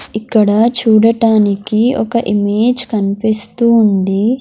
ఇక్కడ చూడటానికి ఒక ఇమేజ్ కనిపిస్తూ ఉంది.